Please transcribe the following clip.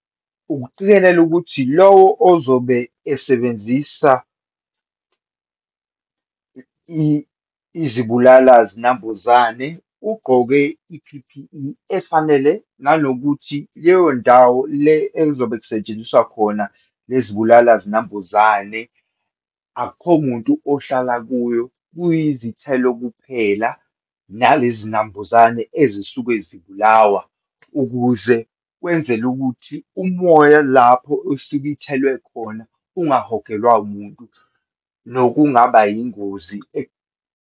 Ukuqikelela ukuthi lowo ozobe esebenzisa izibulala zinambuzane ugqoke i-P_P_E efanele, nanokuthi leyo ndawo le elizobe lisetshenziswa khona lezibulala zinambuzane, akukho muntu ohlala kuyo, kuyizithelo kuphela nalezi nambuzane ezisuke zibulawa, ukuze wenzele ukuthi umoya lapho osuke ithelwe khona ungahogelwa wumuntu nokungaba yingozi .